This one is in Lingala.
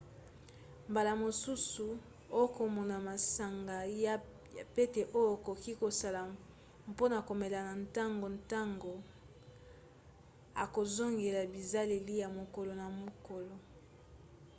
mbala mosusu okomona masanga ya pete oyo okoki kosala mpona komela na ntongo ntango okozongela bizaleli ya mokolo na mokolo